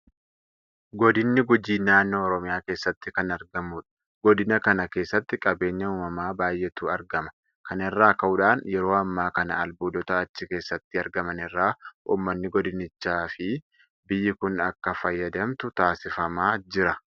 Godinni Gujii naannoo Oromiyaa keessatti kan argamudha. Godina kana keessatti qabeenya uumamaa baay'eetu argama. Kana irraa ka'uudhaan yeroo ammaa kana albuudota achi keessatti argaman irraa uummanni Godinichaafi biyyi kun akka fayyadamtu taasifamaa jira.